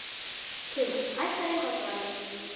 Tumas, hækkaðu í hátalaranum.